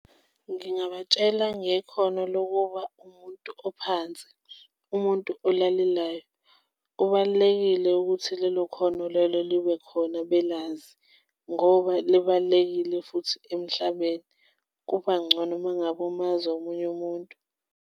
Ngingabatshela ngekhono lokuba umuntu ophansi, umuntu olalelayo kubalulekile ukuthi lelo khono lelo libe khona belazi, ngoba libalulekile futhi emhlabeni kuba ngcono uma ngabe umazi omunye umuntu.